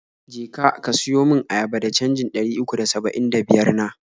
Je ka, ka siyo mun ayaba da canjin ɗari uku da saba'in da biyar na.